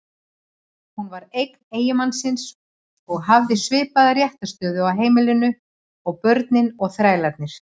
Hún var eign eiginmannsins og hafði svipaða réttarstöðu á heimilinu og börnin og þrælarnir.